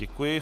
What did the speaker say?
Děkuji.